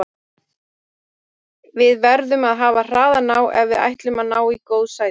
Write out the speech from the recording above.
Við verðum að hafa hraðan á ef við ætlum að ná í góð sæti.